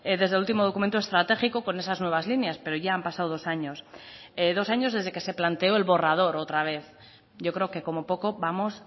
desde el último documento estratégico con esas nuevas líneas pero ya han pasado dos años dos años desde que se planteó el borrador otra vez yo creo que como poco vamos